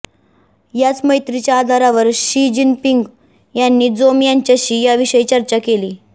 याच मैत्रीच्या आधारावर शी जिनपिंग यांनी जोम यांच्याशी याविषयी चर्चा केली